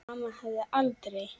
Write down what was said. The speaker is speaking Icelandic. Mamma hefði aldrei.